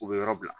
U bɛ yɔrɔ bila